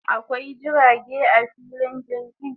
Akwai jirage a filin jirgi